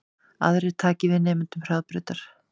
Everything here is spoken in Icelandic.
Aðrir taki við nemendum Hraðbrautar